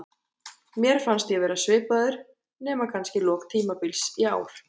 Mér fannst ég vera svipaður, nema kannski í lok tímabils í ár.